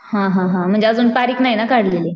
हा हा हा म्हणजे अजून तारीख नाही ना काढलेली.